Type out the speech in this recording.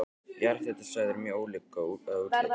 Jarðhitasvæði eru mjög ólík að útliti.